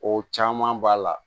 O caman b'a la